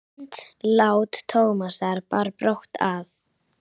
Andlát Tómasar bar brátt að.